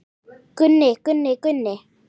Gunni, Gunni, Gunni.